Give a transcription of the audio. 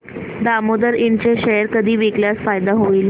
दामोदर इंड चे शेअर कधी विकल्यास फायदा होईल